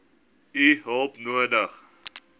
u hulp nodig